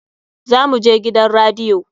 Za mu je gidan radiyo.